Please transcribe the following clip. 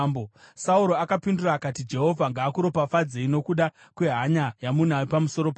Sauro akapindura akati, “Jehovha ngaakuropafadzei nokuda kwehanya yamunayo pamusoro pangu.